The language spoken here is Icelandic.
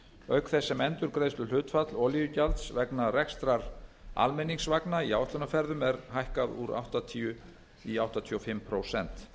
auk þess sem endurgreiðsluhlutfall olíugjalds vegna rekstrar almenningsvagna í áætlunarferðum er hækkað úr áttatíu prósent í áttatíu og fimm prósent